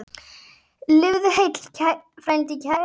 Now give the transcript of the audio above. Lifðu heill, frændi kær!